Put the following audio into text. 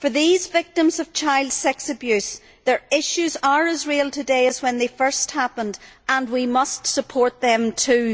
For these victims of child sex abuse, their issues are as real today as when they first happened, and we must support them too.